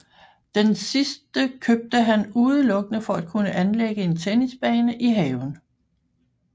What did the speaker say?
Den sidste købte han udelukkende for at kunne anlægge en tennisbane i haven